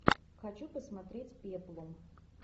хочу посмотреть пеплум